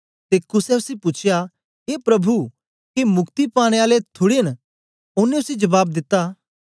ते कुसे उसी पूछया ए प्रभु के मुक्ति पाने आले थुड़े न ओनें उसी जबाब दिता